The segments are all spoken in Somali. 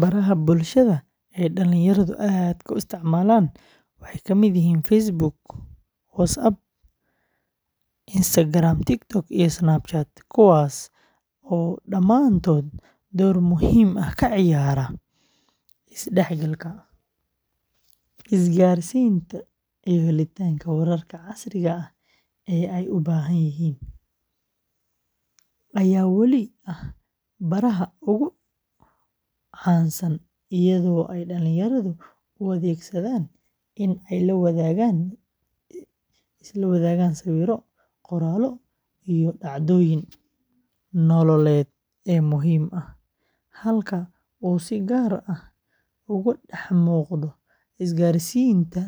Baraha bulshada ee dhalinyaradu aadka u isticmaalaan waxay kala yihiin Facebook, WhatsApp, Instagram, TikTok, and Snapchat, kuwaas oo dhammaantood door muhiim ah ka ciyaara isdhexgalka, isgaarsiinta, iyo helitaanka wararka casriga ah ee ay u baahan yihiin, ayaa wali ah baraha ugu caansan, iyadoo ay dhalinyaradu u adeegsadaan in ay la wadaagaan sawirro, qoraallo, iyo dhacdooyinka nololeed ee muhiimka ah, halka uu si gaar ah uga dhex muuqdo isgaarsiinta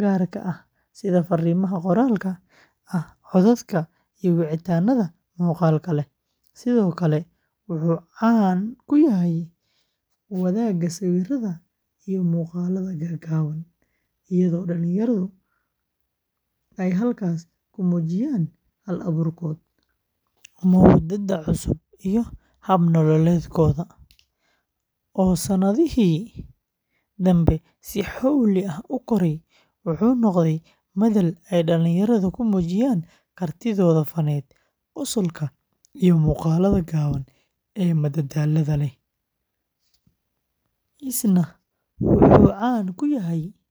gaarka ah sida fariimaha qoraalka ah, codadka, iyo wicitaannada muuqaalka leh. Sidoo kale, wuxuu caan ku yahay wadaagga sawirrada iyo muuqaalada gaagaaban, iyadoo dhalinyaradu ay halkaas ku muujiyaan hal-abuurkooda, moodada cusub, iyo hab nololeedkooda, oo sanadihii dambe si xowli ah u koray, wuxuu noqday madal ay dhalinyaradu ku muujiyaan kartidooda fanaaneed, qosolka, iyo muuqaalada gaaban ee madadaalada leh, isna wuxuu caan ku yahay fariimaha.